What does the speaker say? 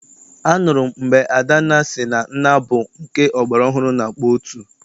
Anụrụ m mgbe Adanna sị na nnaa bụ nke ọgbara ọhụrụ na-akpọ otu.